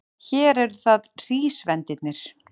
Hér eru það hrísvendirnir.